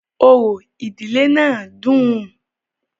Orò ìdílé náà dùn-ùn.